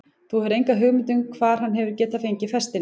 Þú hefur enga hugmynd um það hvar hann hefur getað fengið festina?